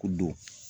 Ko don